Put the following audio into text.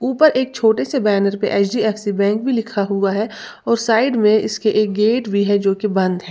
ऊपर एक छोटे से बैनर पे एच_डी_एफ_सी बैंक भी लिखा हुआ है और साइड में इसके एक गेट भी है जो कि बंद है।